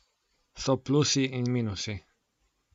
So plusi in minusi.